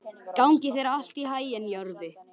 Gangi þér allt í haginn, Jörvi.